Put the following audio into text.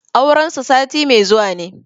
Auren su sati mai zuwa ne.